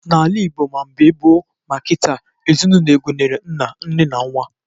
N'ala Ịgbo ma mgbe gboo ma kịta, ezinaụlọ gụnyere nna, nne na nwa